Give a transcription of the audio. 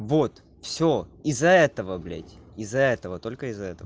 вот всё из-за этого блядь из-за этого только из-за этого